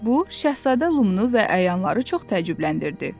Bu Şahzadə Lumunu və əyanları çox təəccübləndirdi.